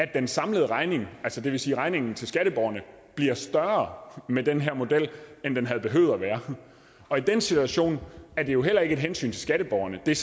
den samlede regning det vil sige regningen til skatteborgerne bliver større med den her model end den havde behøvet at være og i den situation er det jo heller ikke et hensyn til skatteborgerne det er